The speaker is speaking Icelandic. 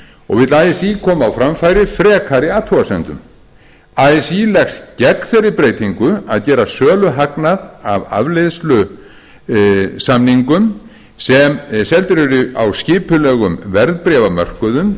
og vill así koma á framfæri frekari athugasemdum así leggst gegn þeirri breytingu að gera söluhagnað af afleiðusamningum sem seldir eru á skipulegum verðbréfamörkuðum